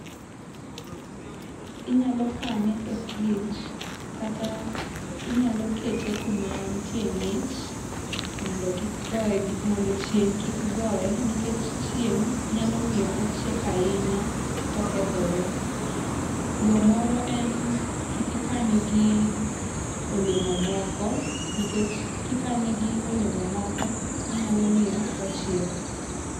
Inyalo kane e fridge kata inyalo kete kuma nitie ngich mondo kik goe gi, mondo chieng kik goe nikech chieng nyalo miyo ochiek ahinya to okethore, Yo moro en kik ikane gi olemo moko nikech kikane gi olemo moko inyalo miyo ochiek